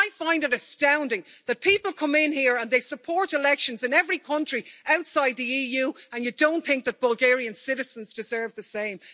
I find it astounding that people come in here and they support elections in every country outside the EU and you don't think that Bulgarian citizens deserve the same.